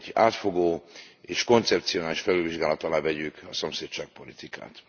átfogó és koncepcionális felülvizsgálat alá vegyük a szomszédságpolitikát.